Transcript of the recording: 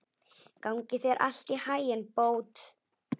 Gangi þér allt í haginn, Bót.